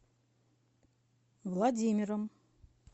владимиром